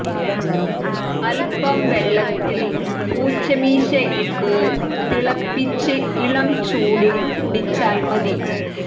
അൽപം വെള്ളത്തിൽ പൂച്ച മീശ ഇട്ട് തിളപ്പിച്ച് ഇളം ചൂടിൽ കുടിച്ചാൽ മതി